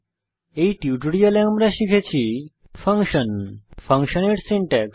এই টিউটোরিয়ালে আমরা শিখেছি ফাংশন ফাংশনের সিনটেক্স